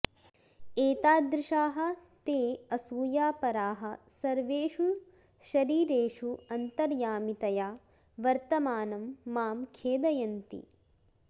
एतादृशाः ते असूयापराः सर्वेषु शरीरेषु अन्तर्यामितया वर्तमानं मां खेदयन्ति